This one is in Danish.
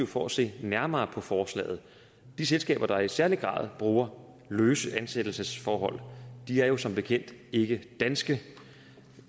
for at se nærmere på forslaget de selskaber der i særlig grad bruger løse ansættelsesforhold er jo som bekendt ikke danske